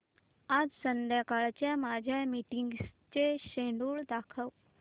आज संध्याकाळच्या माझ्या मीटिंग्सचे शेड्यूल दाखव